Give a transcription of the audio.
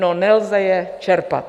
No, nelze je čerpat.